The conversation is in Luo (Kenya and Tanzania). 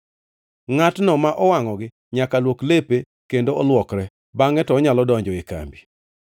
Ngʼatno ma owangʼogi nyaka luok lepe kendo olwokre, bangʼe to onyalo donjo e kambi.